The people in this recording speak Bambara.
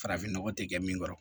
Farafin nɔgɔ tɛ kɛ min kɔrɔ